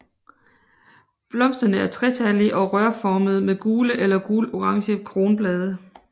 Blomsterne er tretallige og rørformede med gule eller gulorange kronblade